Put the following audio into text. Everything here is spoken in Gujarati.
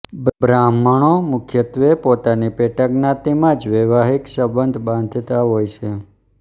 બ્રાહ્મણો મુખ્યત્વે પોતાની પેટાજ્ઞાતિમાં જ વૈવાહિક સંબંધ બાંધતા હોય છે